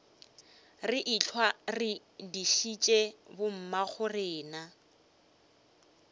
re ehlwa re dišitše bommagorena